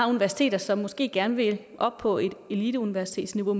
universiteter som måske gerne vil op på et eliteuniversitetsniveau